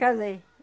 Casei.